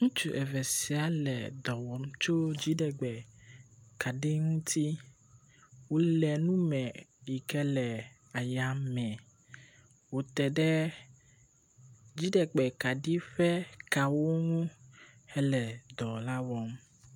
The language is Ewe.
Ŋutsu eve sia le dɔ wɔm tso dziɖegbe kaɖi ŋuti. Wole nu me yike le eyame, wòte ɖe dziɖegbe kaɖi ƒe kawo ŋu hele dɔ la wɔm.